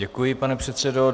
Děkuji, pane předsedo.